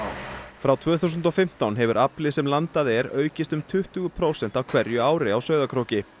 frá tvö þúsund og fimmtán hefur afli sem landað er aukist um tuttugu prósent á hverju ári á Sauðárkróki